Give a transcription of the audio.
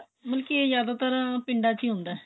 ਮਤਲਬ ਕੀ ਇਹ ਜਿਆਦਾਤਰ ਪਿੰਡਾਂ ਚ ਹੀ ਹੁੰਦਾ